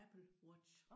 Apple Watch